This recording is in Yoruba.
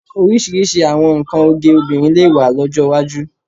Oríṣiríṣi àwọn nnkan oge obìnrin lè wà lọ́jọ́ iwájú